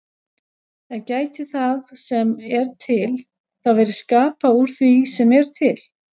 En gæti það sem er til þá verið skapað úr því sem er til?